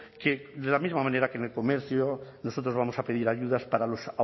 que de la misma manera que en el comercio nosotros vamos a pedir ayudas para los